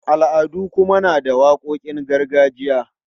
Al'adu kuma na da waƙoƙin gargajiya.